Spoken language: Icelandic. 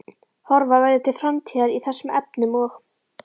Horfa verði til framtíðar í þessum efnum og?